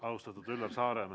Austatud Üllar Saaremäe ...